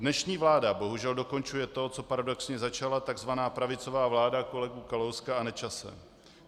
Dnešní vláda bohužel dokončuje to, co paradoxně začala tzv. pravicová vláda kolegů Kalouska a Nečase.